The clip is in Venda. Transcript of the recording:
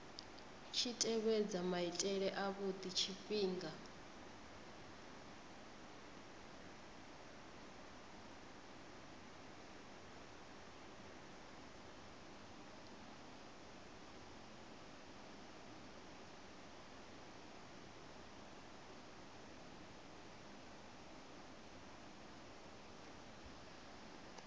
tshi tevhedza maitele avhudi tshifhinga